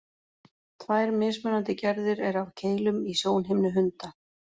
Tvær mismunandi gerðir eru af keilum í sjónhimnu hunda.